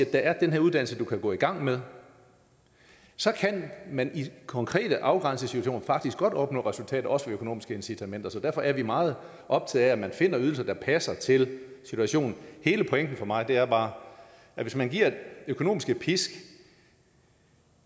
der er den her uddannelse du kan gå i gang med så kan man i konkrete afgrænsede situationer faktisk opnå resultater også med økonomiske incitamenter så derfor er vi meget optaget af at man finder ydelser der passer til situationen hele pointen for mig er bare at hvis man giver økonomiske pisk